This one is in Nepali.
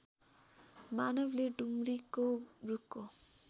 मानवले डुम्रीको रूखको